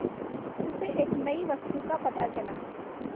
उसे एक नई वस्तु का पता चला